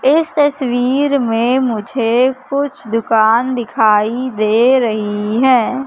इस तस्वीर में मुझे कुछ दुकान दिखाई दे रही है।